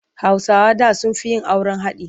Hausawa da sun fi yin auren haɗi.